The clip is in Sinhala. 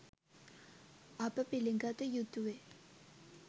අප පිළිගත යුතුවේ